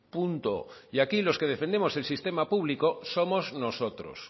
punto y aquí los que defendemos el sistema público somos nosotros